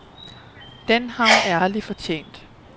Den har hun ærligt fortjent.